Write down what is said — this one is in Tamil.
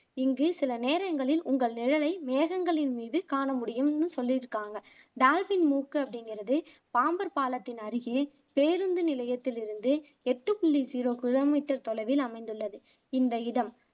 இங்கு சில நேரங்களில் உங்கள் நிழலை மேகங்களின் மீது காணமுடியும்னு சொல்லிருக்காங்க டால்பின்மூக்கு அப்படிங்குறது பாம்பர் பாலத்தின் அருகே பேருந்து நிலையத்திலிருந்து எட்டு புள்ளி ஜீரோ கிலோமீட்டர் தொலைவில் அமைந்துள்ளது இந்த இடம்